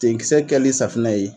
Tenkisɛ kɛli safinɛ ye